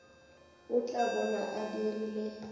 o tla bona a dirile